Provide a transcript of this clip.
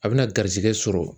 A bɛna garizigɛ sɔrɔ.